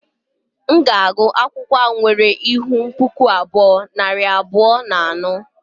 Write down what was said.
M ga-agụ akwụkwọ a nwere ihu puku abụọ, nari abụọ na anọ